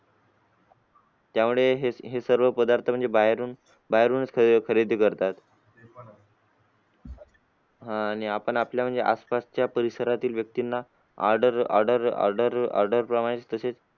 त्यामुळे हे सर्व पदार्थ म्हणजे बाहेरून बाहेरूनच खरेदी करतात. आह आणि आपण आपल्या म्हणजे आसपास च्या परिसरातील व्यक्तींना order order order order प्रमाणे तसेच